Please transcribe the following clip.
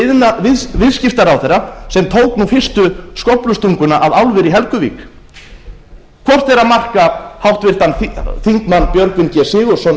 hæstvirtur viðskiptaráðherra sem tók fyrstu skóflustunguna að álveri í helguvík hvort er að marka háttvirtir þingmenn björgvin g sigurðsson